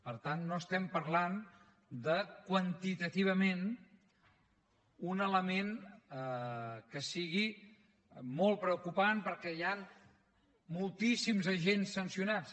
per tant no estem parlant de quantitativament un element que sigui molt preocupant perquè hi han moltíssims agents sancionats